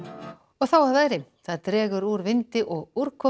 þá að veðri það dregur úr vindi og úrkomu